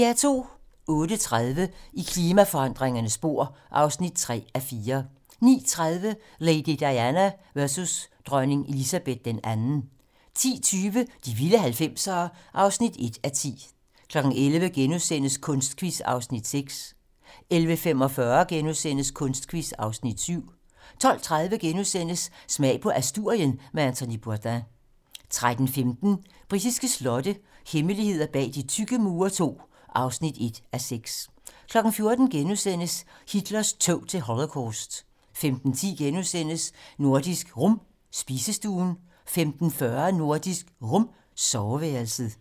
08:30: I klimaforandringernes spor (3:4) 09:30: Lady Diana versus dronning Elizabeth II 10:20: De vilde 90'ere (1:10) 11:00: Kunstquiz (Afs. 6)* 11:45: Kunstquiz (Afs. 7)* 12:30: Smag på Asturien med Anthony Bourdain * 13:15: Britiske slotte - hemmeligheder bag de tykke mure II (1:6) 14:00: Hitlers tog til Holocaust * 15:10: Nordisk Rum - spisestuen * 15:40: Nordisk Rum - soveværelset